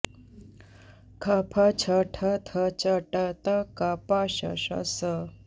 ख फ छ ठ थ च ट त क प श ष स